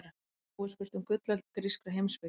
Nú er spurt um gullöld grískrar heimspeki.